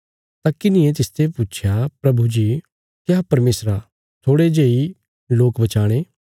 तां किन्हिये तिसते पुच्छया प्रभु जी क्या परमेशरा थोड़े जेई लोक बचाणे